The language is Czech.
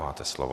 Máte slovo.